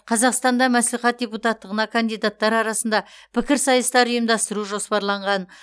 қазақстанда мәслихат депутаттығына кандидаттар арасында пікірсайыстар ұйымдасту жоспарланған